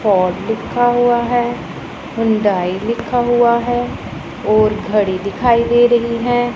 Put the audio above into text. Ford लिखा हुआ है हुंडाई लिखा हुआ है और घड़ी दिखाई दे रही है।